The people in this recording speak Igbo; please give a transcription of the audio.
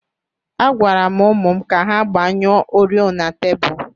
Agwara m ụmụ m ka ha gbanyụọ oriọna tebụl.